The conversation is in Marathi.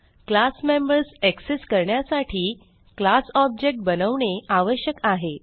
क्लास मेंबर्स एक्सेस करण्यासाठी क्लास ऑब्जेक्ट बनवणे आवश्यक आहे